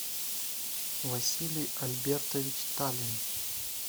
василий альбертович талин